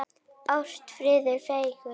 Ást, friður og fegurð.